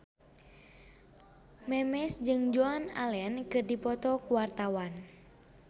Memes jeung Joan Allen keur dipoto ku wartawan